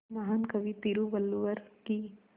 महान कवि तिरुवल्लुवर की